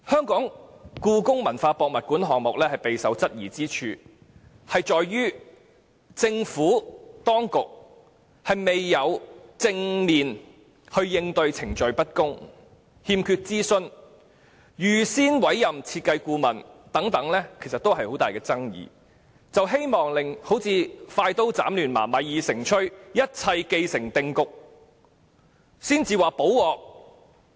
故宮館的興建計劃備受質疑，源於政府當局未有正面應對程序不公、欠缺諮詢、預先委任設計顧問等各種爭議，反而是希望快刀斬亂麻，待米已成炊，一切既成定局後才"補鑊"。